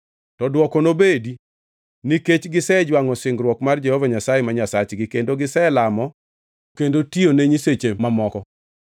To dwoko nobed: ‘Nikech gisejwangʼo singruok mar Jehova Nyasaye ma Nyasachgi kendo giselamo kendo tiyone nyiseche mamoko.’ ”